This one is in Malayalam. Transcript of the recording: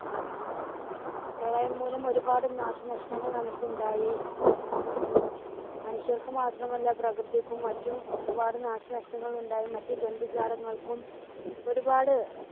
പ്രളയം മൂലം ഒരുപാട് നാശനഷ്ടങ്ങൾ നമുക്കുണ്ടായി മനുഷ്യർക്ക് മാത്രമല്ല പ്രകൃതിക്കും മറ്റും ഒരുപാട് നാശനഷ്ടങ്ങളുണ്ടായി മറ്റു ജന്തുജാലങ്ങൾക്കും ഒരുപാട്